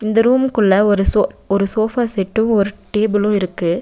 இந்த ரூமுக்குள்ள ஒரு சோ ஒரு சோஃபா செட்டு ஒரு டேபுளு இருக்கு.